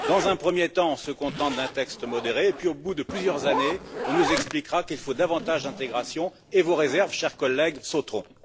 Dans un premier temps, elle se contente d'un texte modéré et puis au bout de plusieurs années, on nous expliquera qu'il faut davantage d'intégration et vos réserves, cher collègue, sauteront.